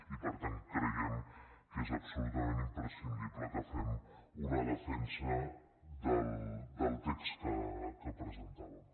i per tant creiem que és absolutament imprescindible que fem una defensa del text que presentàvem